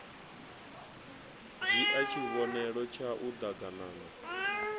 dzhie tshivhonelo tshau d aganana